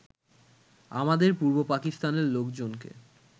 আমাদের পূর্ব পাকিস্তানের লোকজনকে